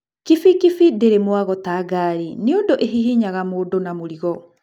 Kibikibi ndĩrĩ mwago ta ngari nĩũndũ ĩhihinyaga mũndũ na mũrigo.